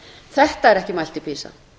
þetta er ekki mælt í pisa